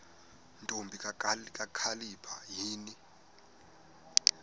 ntombi kakhalipha yini